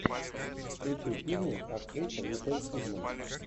включи фильмы актриса николь кидман